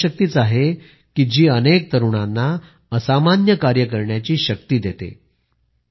ही इच्छाशक्तीच आहे की जी अनेक तरुणांना असामान्य कार्य करण्याची शक्ती देते